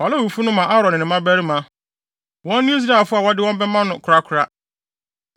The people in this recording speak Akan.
Fa Lewifo no ma Aaron ne ne mmabarima; wɔn ne Israelfo a wɔde wɔn bɛma no korakora.